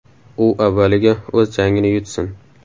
U avvaliga o‘z jangini yutsin.